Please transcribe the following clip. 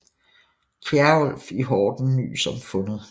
Kjerulf i Horten nys om fundet